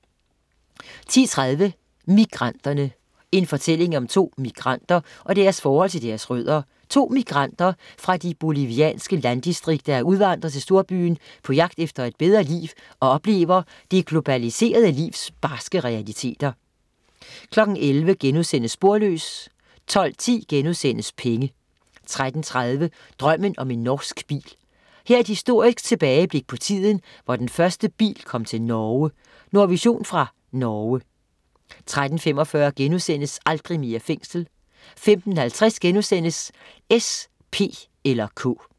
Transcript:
10.30 Migranterne. En fortælling om to migranter og deres forhold til deres rødder: To migranter fra de bolivianske landdistrikter er udvandret til storbyen på jagt efter et bedre liv og oplever det globaliserede livs barske realiteter 11.00 Sporløs* 12.10 Penge* 13.30 Drømmen om en norsk bil. Her er et historisk tilbageblik på tiden, hvor den første bil kom til Norge. Nordvision fra Norge 13.45 Aldrig mere fængsel* 15.50 S, P eller K*